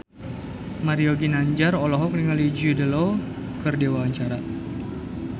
Mario Ginanjar olohok ningali Jude Law keur diwawancara